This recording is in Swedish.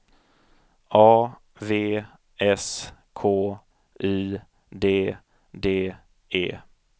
A V S K Y D D E